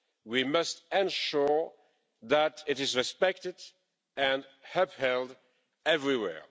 We must ensure that it is respected and upheld everywhere.